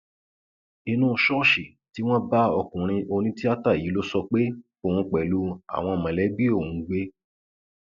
inú ṣọọṣì tí wọn bá ọkùnrin onítìátà yìí ló sọ pé òun pẹlú àwọn mọlẹbí òun ń gbé